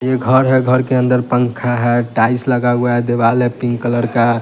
ये घर है घर के अंदर पंखा है टाइल्स लगा हुआ है दीवाल है पिंक कलर का।